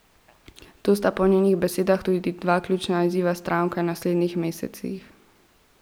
To sta po njenih besedah tudi dva ključna izziva stranke v naslednjih mesecih.